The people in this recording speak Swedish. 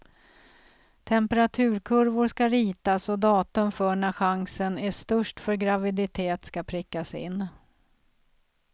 Temperaturkurvor ska ritas och datum för när chansen är störst för graviditet ska prickas in.